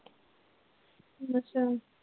ਅੱਛਾ।